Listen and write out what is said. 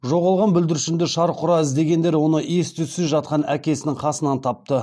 жоғалған бүлдіршінді шарқ ұра іздегендер оны ес түзсіз жатқан әкесінің қасынан тапты